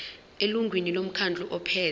elungwini lomkhandlu ophethe